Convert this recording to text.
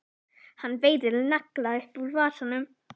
Hann veiðir nagla upp úr vasanum.